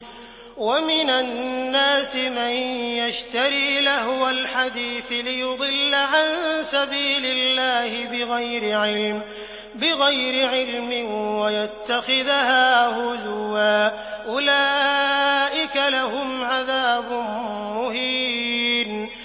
وَمِنَ النَّاسِ مَن يَشْتَرِي لَهْوَ الْحَدِيثِ لِيُضِلَّ عَن سَبِيلِ اللَّهِ بِغَيْرِ عِلْمٍ وَيَتَّخِذَهَا هُزُوًا ۚ أُولَٰئِكَ لَهُمْ عَذَابٌ مُّهِينٌ